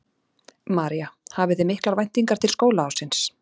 María: Hafið þið miklar væntingar til skólaársins?